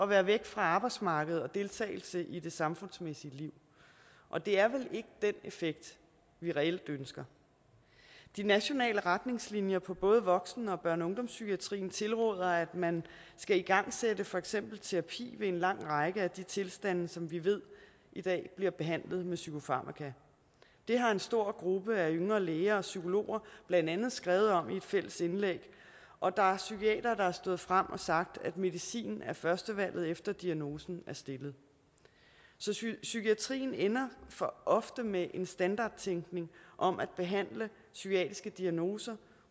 være væk fra arbejdsmarkedet og deltagelse i det samfundsmæssige liv og det er vel ikke den effekt vi reelt ønsker de nationale retningslinjer på både voksen børne og ungdomspsykiatrien tilråder at man skal igangsætte for eksempel terapi ved en lang række af de tilstande som vi ved i dag bliver behandlet med psykofarmaka det har en stor gruppe af yngre læger og psykologer blandt andet skrevet om i et fælles indlæg og der er psykiatere der er stået frem og har sagt at medicin er førstevalget efter at diagnosen er stillet så psykiatrien ender for ofte med en standardtænkning om at behandle psykiatriske diagnoser